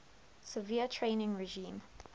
severe training regime